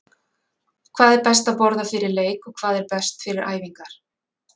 Hvað er best að borða fyrir leik og hvað er best fyrir æfingar?